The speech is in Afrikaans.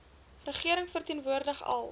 regering verteenwoordig al